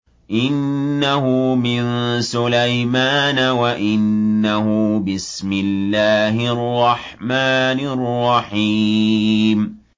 إِنَّهُ مِن سُلَيْمَانَ وَإِنَّهُ بِسْمِ اللَّهِ الرَّحْمَٰنِ الرَّحِيمِ